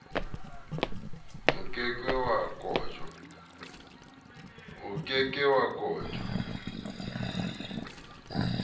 o ke ke wa kotjwa